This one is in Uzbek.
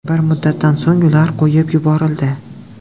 Bir muddatdan so‘ng ular qo‘yib yuborildi.